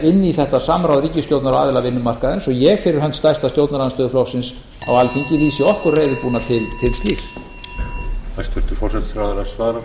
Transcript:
inn í þetta samráð ríkisstjórnar og aðila vinnumarkaðarins og ég fyrir hönd stærsta stjórnarandstöðuflokksins á alþingi lýsi okkur reiðubúna til slíks